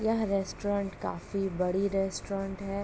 यह रेस्टोरेंट काफी बड़ी रेस्टोरेंट है।